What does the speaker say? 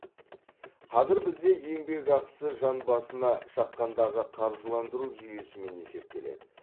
қазір бізде еңбекақысы жан басына шаққандағы қаржыландыру жүйесімен есептеледі